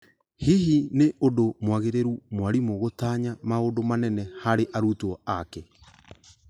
Hihi nĩ ũndũ mwagĩrĩru mwarimũ gũtanya maũndũ manene harĩ arutwo ake ?